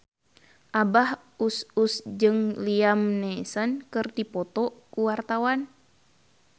Abah Us Us jeung Liam Neeson keur dipoto ku wartawan